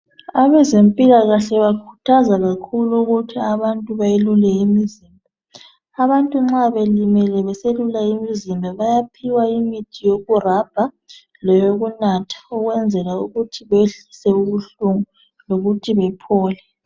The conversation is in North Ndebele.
Abezempilakahle bakhuthaza kakhulu ukuthi abantu beyelule imizimba. Abantu nxa belimele beselule imizimba bayaphiwa imithi yokurabha leyokunatha ukwenzela ukuthi beyehlise ubuhlungu lokuthi bephole.